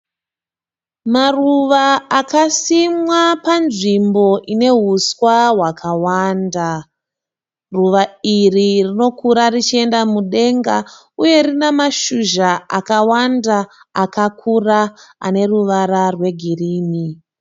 Maruva akasimwa panzvimbo ine huswa hwakawanda, ruva iri rinokura richienda mudenga, uye rine mashizha akawanda akakura ane ruvara rwegirini.